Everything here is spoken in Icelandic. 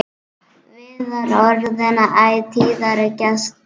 Viðar orðinn æ tíðari gestur.